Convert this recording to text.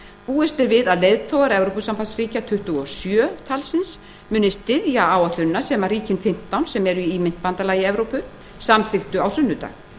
búist er við að leiðtogar evrópusambandsríkjanna tuttugu og sjö muni styðja áætlunina sem ríkin fimmtán sem eru í myntbandalagi evrópu samþykktu á sunnudag